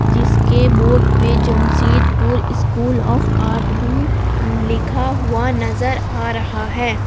जिसके बोर्ड पे Jamshedpur school of art भी लिखा हुआ नजर आ रहा है।